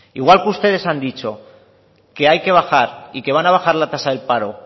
igual que ustedes han dicho que hay que bajar y que van a bajar la tasa del paro